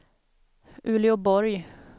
Uleåborg